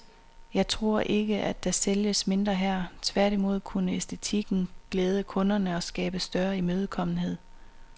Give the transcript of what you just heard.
Jeg tror ikke, at der sælges mindre her, tværtimod kunne æstetikken glæde kunderne og skabe større imødekommenhed.